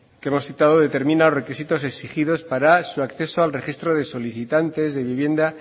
que hemos citado determina los requisitos exigidos para su acceso al registro de solicitantes de vivienda